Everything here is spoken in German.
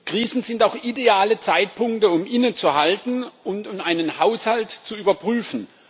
Krisen sind auch ideale Zeitpunkte, um innezuhalten und um einen Haushalt zu überprüfen.